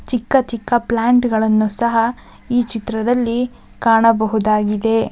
ಚಿಕ್ಕ ಚಿಕ್ಕ ಪ್ಲಾಂಟ್ ಗಳನ್ನು ಸಹ ಈ ಚಿತ್ರದಲ್ಲಿ ಕಾಣಬಹುದಾಗಿದೆ.